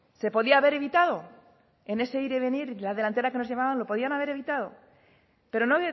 se podía haber evitado en ese ir y venir la delantera que nos llevaban lo podían haber evitado pero no